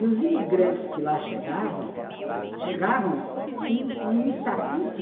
E os imigrantes que lá chegavam, chegavam com um estatuto